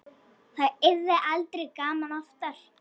Það yrði aldrei gaman oftar.